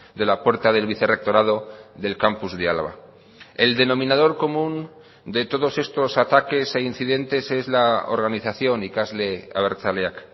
de la puerta del vicerrectorado del campus de álava el denominador común de todos estos ataques e incidentes es la organización ikasle abertzaleak